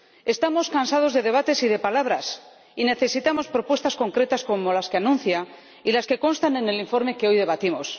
Estamos cansados de debates y de palabras y necesitamos propuestas concretas como las que anuncia y las que constan en el informe que hoy debatimos.